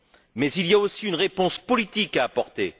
Mais il y a aussi une réponse politique à apporter.